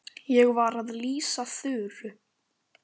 Ég var að lýsa Þuru.